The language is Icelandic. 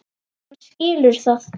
Hann skilur það.